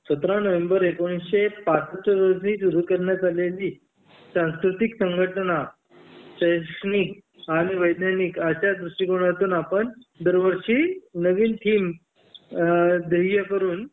सतरा नोव्हेंबर एकोणीसशे पासष्ठ साली सुरू करण्यात आलेली सांस्कृतिक संघटना शैक्षणिक आणि वैज्ञानिक आशा दृष्टिकोनातून आपण दरवर्षी नवीन थीम अ ध्येय करून